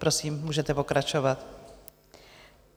Prosím, můžete pokračovat.